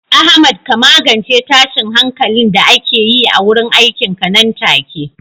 Ahmad ka magance tashin hankalin da ake yi a wurin aikinka nan take.